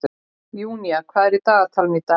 Júnía, hvað er í dagatalinu í dag?